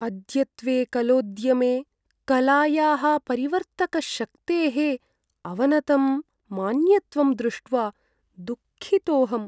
अद्यत्वे कलोद्यमे कलायाः परिवर्तकशक्तेः अवनतं मान्यत्वं दृष्ट्वा दुःखितोहम्।